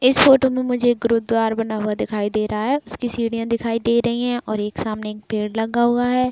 इस फोटो में मुझे एक गुरुद्वार बना हुआ दिखाई दे रहा है। उसकी सीढ़ियां दिखाई दे रही और एक सामने एक पेड़ लगा हुआ है।